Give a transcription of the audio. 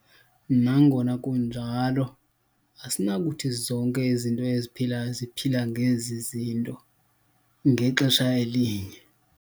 Nangona kunjalo, asinakuthi zonke izinto eziphilayo ziphila ngezi zinto ngexesha elinye.